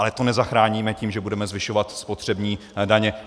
Ale to nezachráníme tím, že budeme zvyšovat spotřební daně.